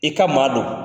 I ka maa don